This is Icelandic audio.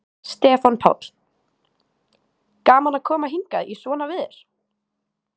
Stefán Páll: Gaman að koma hingað í svona veður?